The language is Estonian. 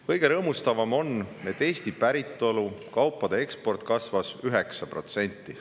Kõige rõõmustavam on, et Eesti päritolu kaupade eksport kasvas 9%.